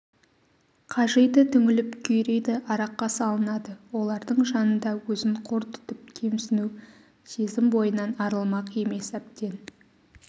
қажиды түңіліп күйрейді араққа салынады олардың жанында өзін қор тұтып кемсіну сезім бойынан арылмақ емес әбден